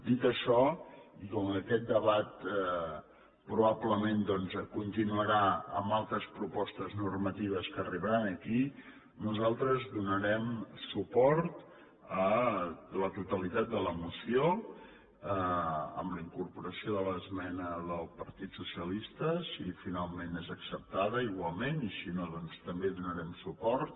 dit això i com que aquest debat probablement doncs continuarà amb altres propostes normatives que arribaran aquí nosaltres donarem suport a la totalitat de la moció amb la incorporació de l’esmena del partit socialista si finalment és acceptada igualment i si no també hi donarem suport